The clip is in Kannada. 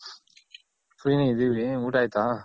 Free ನೆ ಇದಿವಿ ಊಟ ಆಯ್ತಾ?